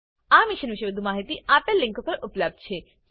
આ મિશન પરની વધુ માહિતી spoken tutorialorgnmeict ઇન્ટ્રો પર ઉપલબ્ધ છે